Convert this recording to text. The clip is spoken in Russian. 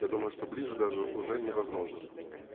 я думаю что ближе даже уже невозможно